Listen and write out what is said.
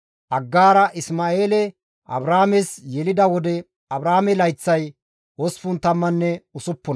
Aggaara Isma7eele Abraames yelida wode Abraame layththay 86.